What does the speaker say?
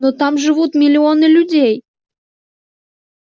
но там живут миллионы людей